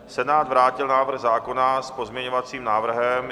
Senát vrátil návrh zákona s pozměňovacím návrhem.